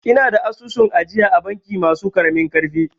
Ina da asusun ajiya a bankin masu ƙaramin ƙarfi